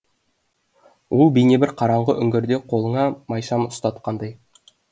ол бейне бір қараңғы үңгірде қолыңа майшам ұстатқандай